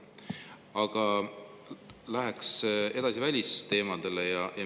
Aga läheks edasi välisteemade juurde.